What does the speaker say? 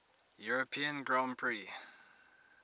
european grand prix